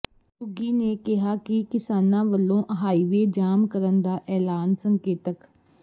ਘੁੱਗੀ ਨੇ ਕਿਹਾ ਕਿ ਕਿਸਾਨਾਂ ਵੱਲੋਂ ਹਾਈਵੇਅ ਜਾਮ ਦਾ ਐਲਾਨ ਸੰਕੇਤਕ